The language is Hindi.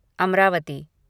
अमरावती